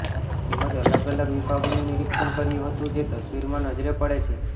તેમજ અલગ અલગ વિભાગોનું નિરીક્ષણ કર્યુ હતુ જે તસ્વીરમાં નજરે પડે છે